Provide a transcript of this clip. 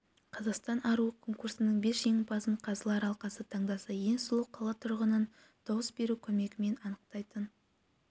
қазақстан аруы конкурсының бес жеңімпазын қазылар алқасы таңдаса ең сұлу қала тұрғынын дауыс берудің көмегімен анықтайтын